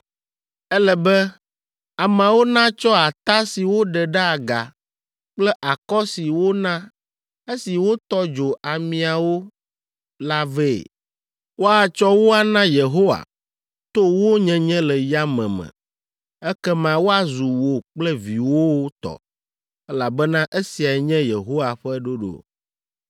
“Ele be ameawo natsɔ ata si woɖe ɖe aga kple akɔ si wona esi wotɔ dzo amiawo la vɛ. Woatsɔ wo ana Yehowa to wo nyenye le yame me. Ekema woazu wò kple viwòwo tɔ, elabena esiae nye Yehowa ƒe ɖoɖo.”